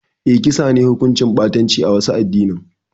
Eh, kisa ne hukunci ɓatanci a wasu adinin